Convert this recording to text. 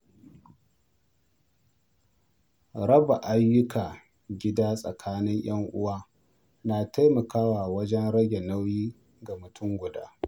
Raba ayyukan gida tsakanin ‘yan uwa na taimakawa wajen rage nauyi ga mutum guda.